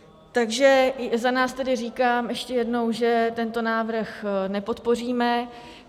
Takže za nás tedy říkám ještě jednou, že tento návrh nepodpoříme.